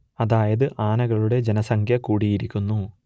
അതായത് ആനകളുടെ ജനസംഖ്യ കൂടിയിരിക്കുന്നു